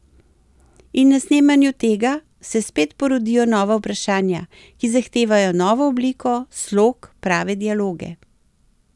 In na snemanju tega, se spet porodijo nova vprašanja, ki zahtevajo novo obliko, slog, prave dialoge.